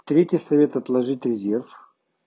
третий совета отложитьь резерв